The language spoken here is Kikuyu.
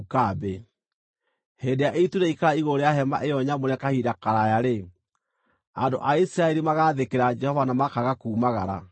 Hĩndĩ ĩrĩa itu rĩaikara igũrũ rĩa Hema-ĩyo-Nyamũre kahinda karaaya-rĩ, andũ a Isiraeli magaathĩkĩra Jehova na makaaga kuumagara.